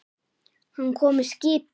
Hann kom með skipi.